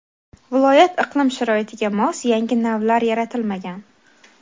viloyat iqlim sharoitiga mos yangi navlar yaratilmagan.